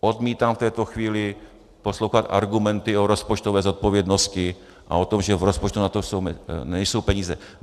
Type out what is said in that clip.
Odmítám v této chvíli poslouchat argumenty o rozpočtové zodpovědnosti a o tom, že v rozpočtu na to nejsou peníze.